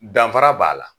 Danfara b'a la